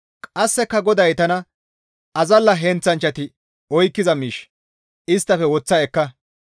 Qasseka GODAY tana, «Azalla heenththanchchati oykkiza miish isttafe woththa ekka.